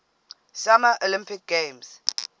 summer olympic games